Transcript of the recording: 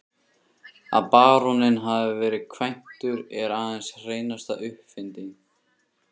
Að baróninn hafi verið kvæntur er aðeins hreinasta uppfinding.